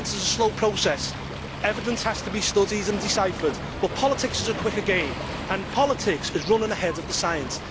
Science is a slow process, evidence has to be studied and deciphered, but politics is a quicker game and politics is running ahead of the science